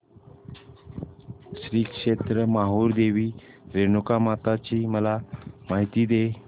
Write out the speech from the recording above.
श्री क्षेत्र माहूर देवी रेणुकामाता ची मला माहिती दे